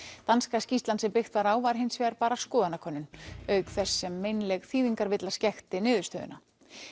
danska skýrslan sem byggt var á var hins vegar bara skoðanakönnun auk þess sem meinleg þýðingarvilla skekkti niðurstöðuna